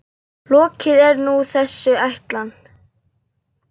Lokið er nú þessi ætlan.